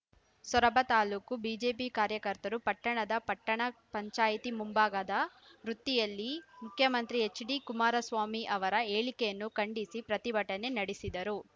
ಸೊರಬ ತಾಲೂಕು ಬಿಜೆಪಿ ಕಾರ್ಯಕರ್ತರು ಪಟ್ಟಣದ ಪಟ್ಟಣ ಪಂಚಾಯ್ತಿ ಮುಂಭಾಗದ ವೃತಿಯಲ್ಲಿ ಮುಖ್ಯಮಂತ್ರಿ ಎಚ್‌ಡಿ ಕುಮಾರಸ್ವಾಮಿ ಅವರ ಹೇಳಿಕೆಯನ್ನು ಖಂಡಿಸಿ ಪ್ರತಿಭಟನೆ ನಡೆಸಿದರು